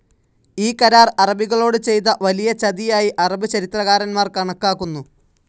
ഈ കരാർ അറബികളോട് ചെയ്ത വലിയ ചതിയായി അറബ് ചരിത്രകാരന്മാർ കണക്കാക്കുന്നു.